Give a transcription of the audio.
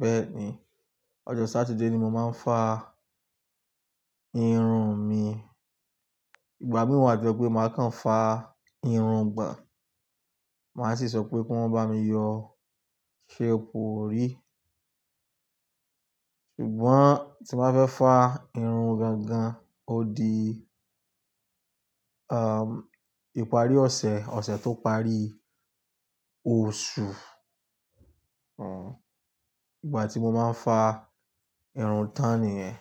Bẹ́ẹ̀ ni, ọjọ́ Sátidé ni mo máa ń fa irun mi. Ìgbà mìí wa to je pé màá kan fà irun gbon, màá sì sọ pé kí wọ́n bá mi yọ shape òrí. Ṣùgbọ́n tí màá fẹ́ fà irun gan gan, ó di, um, ìparí ọ̀sẹ̀, ọ̀sẹ̀ tó parí oṣù. Ìgbà tí mo máa ń fà irun tán nìyẹn.